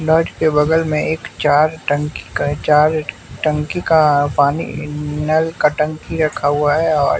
के बगल में एक चार टंकी का चार टंकी का पानी नल का टंकी रखा हुआ है और--